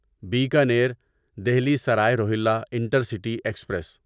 Bikaner Delhi Sarai Rohilla intercity express